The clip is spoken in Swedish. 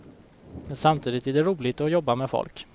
Men samtidigt är det roligt att jobba med folk.